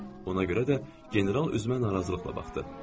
Ona görə də general üzümə narazılıqla baxdı.